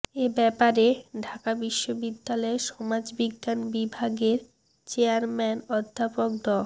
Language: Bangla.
এ ব্যাপারে ঢাকা বিশ্ববিদ্যালয়ের সমাজবিজ্ঞান বিভাগের চেয়ারম্যান অধ্যাপক ড